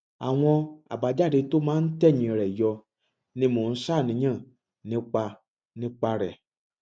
àwọn àbájáde tó máa ń tẹyìn rẹ yọ ni mo ń ṣàníyàn nípa nípa rẹ